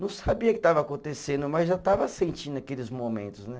Não sabia o que estava acontecendo, mas já estava sentindo aqueles momentos, né?